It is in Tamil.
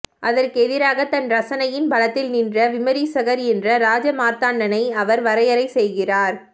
அதற்கு எதிராக தன் ரசனையின் பலத்தில் நின்ற விமரிசகர் என்று ராஜமார்த்தாண்டனை அவர் வரையரைசெய்கிறார்